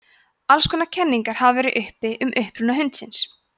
alls konar kenningar hafa verið uppi um uppruna hundsins